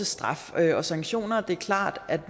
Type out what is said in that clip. straf og sanktioner det er klart at